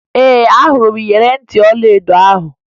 Ee, ahụrụ m iyeri ntị ọlaedo ahụ